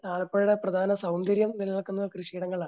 ആലപ്പുഴയുടെ പ്രധാന സൗന്ദര്യം നിലനിൽക്കുന്നത് കൃഷിയിടങ്ങളിലാണ്.